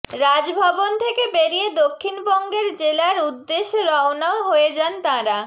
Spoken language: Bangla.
রাজভবন থেকে বেরিয়ে দক্ষিণবঙ্গের জেলার উদ্দেশ্যে রওনাও হয়ে যান তাঁরা